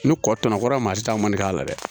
Ni kɔtɔnnan kɔrɔ maa si t'a man k'a la dɛ